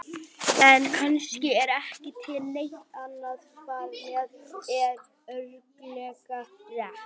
En kannski er ekki til neitt annað svar sem er örugglega rétt.